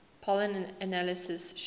pollen analysis showing